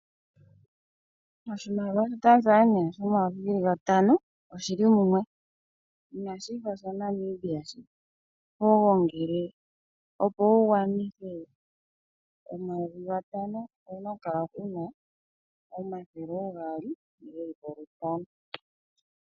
Oshimalia sha Tanzania shomayovi geli gatano oshili mumwe, inashi fa sha Namibia shoka ho gongele opo wu gwanithe omayovi gatano. Owu na okukala wu na omathele oogaali gelipo lutano.